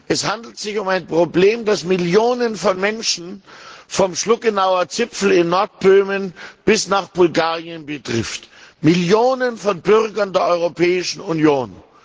Es handelt sich um ein Problem, das Millionen von Menschen vom Schluckenauer Zipfel in Nordböhmen bis nach Bulgarien betrifft Millionen von Bürgern der Europäischen Union!